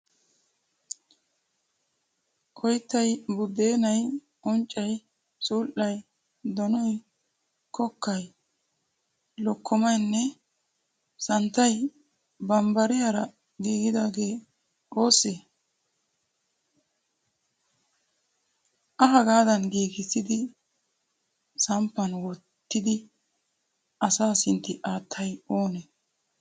Oyttay, buddeenayi, uncayi, sul"ayii, donoyi, kokkayi, lokkomayinne santtayi bambnariyaara giigidaage oosse? A haagadan giigigssidi samppan wottidi asaa sintti attinayi oonee?